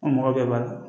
An mɔgɔ bɛɛ b'a la